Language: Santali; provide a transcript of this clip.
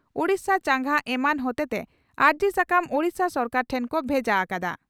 ᱳᱰᱤᱥᱟ ᱪᱟᱸᱜᱟ ᱮᱢᱟᱱ ᱦᱚᱛᱮᱛᱮ ᱟᱹᱨᱡᱤ ᱥᱟᱠᱟᱢ ᱳᱰᱤᱥᱟ ᱥᱚᱨᱠᱟᱨ ᱴᱷᱮᱱ ᱠᱚ ᱵᱷᱮᱡᱟ ᱟᱠᱟᱫᱟ ᱾